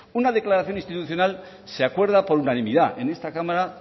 una declaración institucional se acuerda por unanimidad en esta cámara